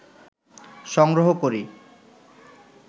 সংগ্রহ করি